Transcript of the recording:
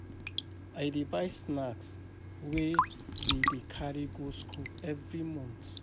I dey buy snack wey we dey carry go skool every month.